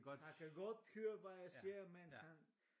Han kan godt høre hvad jeg siger men han